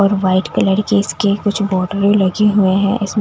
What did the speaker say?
और white colour के इसके कुछ बोर्डर लगे हुए हैं इसमें--